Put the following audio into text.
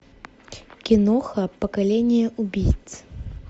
киноха поколение убийц